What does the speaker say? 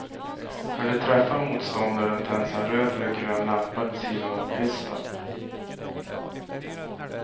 När du träffar motståndaren tänds en röd eller grön lampa vid sidan om pisten.